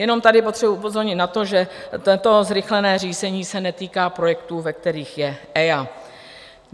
Jenom tady potřebuji upozornit na to, že toto zrychlené řízení se netýká projektů, ve kterých je EIA.